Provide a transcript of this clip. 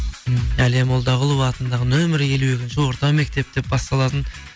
м әлия молдағұлова атындағы нөмірі елу екінші орта мектеп деп басталатын